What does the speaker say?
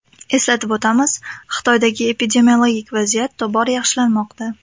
Eslatib o‘tamiz, Xitoydagi epidemiologik vaziyat tobora yaxshilanmoqda .